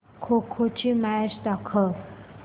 खो खो ची मॅच दाखव